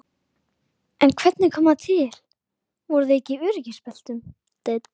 En hvernig kom það til, voru þau ekki í öryggisbeltum?